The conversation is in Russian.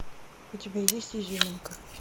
у тебя есть изюминка